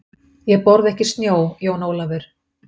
Ég borða ekki snjó, Jón Ólafur.